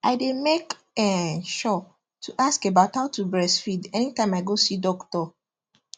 i day make um sure to ask about how to breastfeed anytime i go see doctor